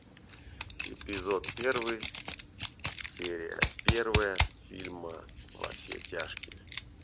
эпизод первый серия первая фильма во все тяжкие